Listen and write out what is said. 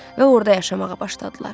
və orda yaşamağa başladılar.